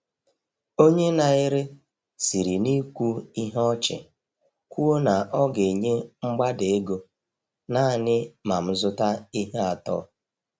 Onye na-ere siri n’ikwu ihe ọchị kwuo na ọ ga-enye mgbada ego naanị ma m zụta ihe atọ.